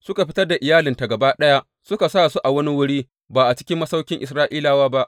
Suka fitar da iyalinta gaba ɗaya suka sa su a wani wuri, ba a cikin masauƙin Isra’ilawa ba.